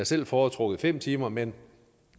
selv foretrukket fem timer men